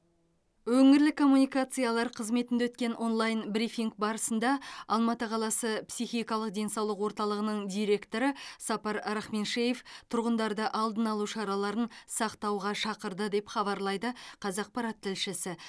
өңірлік коммуникациялар қызметінде өткен онлайн брифинг барысында алматы қаласы психикалық денсаулық орталығының директоры сапар рахменшеев тұрғындарды алдын алу шараларын сақтау шақырды деп хабарлайды қазақпарат тілшісі